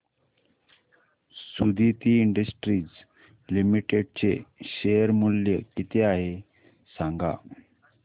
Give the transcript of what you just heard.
Suditi industries limited चे share मूल्य किती आहे सांगा